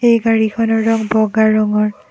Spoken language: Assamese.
এই গাড়ীখন ৰং বগা ৰঙৰ।